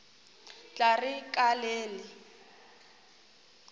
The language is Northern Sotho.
tla re ka le le